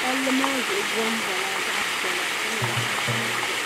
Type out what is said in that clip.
palli maa zuɣu bonbo la zaɣi piɛlla ka nyɛ zaɣi sabinli.